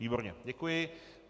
Výborně, děkuji.